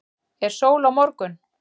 er sól á morgun